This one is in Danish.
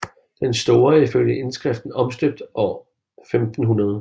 Den store er ifølge indskriften omstøbt år 1500